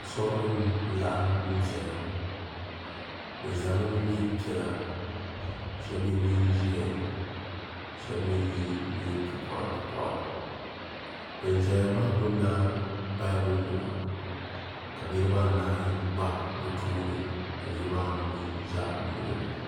asuri nim laɣim zaya be zami n nɛnpiɛlla ka shɛbi yɛ nɛnʒiɛhi ka shɛbi mi yɛ nɛiporipori bɛn ʒɛya maa gbabila bayibuli nima ka niribaanahi gba be tuuni ka niribaanu mi za luɣili ni